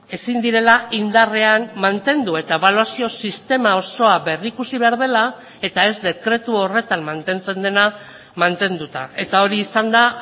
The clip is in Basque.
ezin direla indarrean mantendu eta ebaluazio sistema osoa berrikusi behar dela eta ez dekretu horretan mantentzen dena mantenduta eta hori izan da